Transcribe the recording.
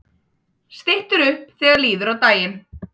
Styttir upp þegar líður á daginn